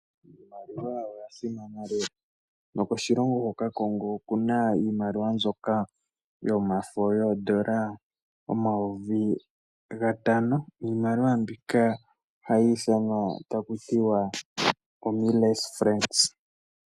Iimaliwa oya simana lela nokoshilongo hoka Congo okuna iimaliwa mbyoka yomafo yoondola yomayovi gatano niimaliwa mbika ohayi ithanwa taku tiwa omillesfences.